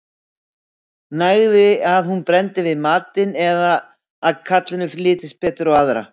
nægði að hún brenndi við matinn eða að karlinum litist betur á aðra